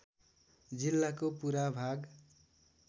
जिल्लाको पुरा भाग